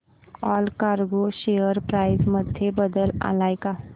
Allcargo share price मध्ये बदल आलाय का